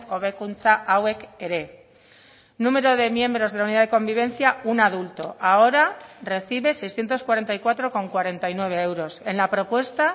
hobekuntza hauek ere número de miembros de la unidad de convivencia un adulto ahora recibe seiscientos cuarenta y cuatro coma cuarenta y nueve euros en la propuesta